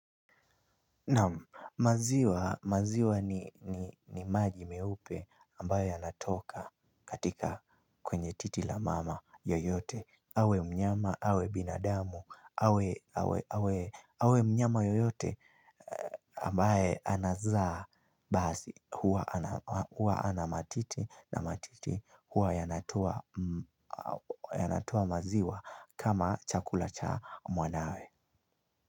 Naam maziwa ni maji meupe ambayo yanatoka katika kwenye titi la mama yoyote. Awe mnyama, awe binadamu, awe mnyama yoyote ambaye anazaa basi. Huwa ana matiti na matiti huwa yanatoa maziwa kama chakula cha mwanawe. Kwa hivyo.